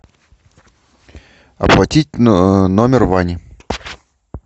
оплатить номер вани